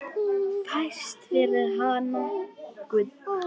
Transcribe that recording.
Fæst fyrir hana gull.